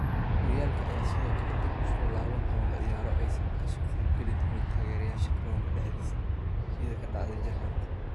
Horyaalka ayaa sidoo kale dib u soo laaban doona ciyaaro aysan ka soo qeyb gali doonin taageerayaasha garoonka dhexdiisa sida ka dhacday jarmalka.